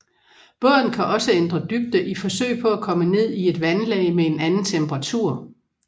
Båden kan også ændre dybde i forsøg på at komme ned i et vandlag med en anden temperatur